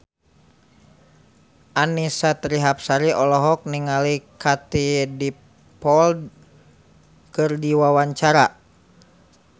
Annisa Trihapsari olohok ningali Katie Dippold keur diwawancara